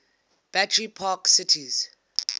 battery park city